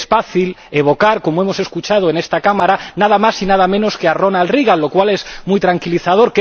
es fácil evocar, como hemos escuchado en esta Cámara, nada más y nada menos que a Ronald Reagan, lo cual es muy tranquilizador.